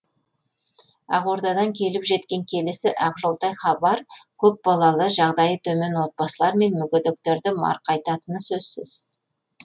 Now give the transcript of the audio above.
ақордадан келіп жеткен келесі ақжолтай хабар көпбалалы жағдайы төмен отбасылар мен мүгедектерді марқайтатыны сөзсіз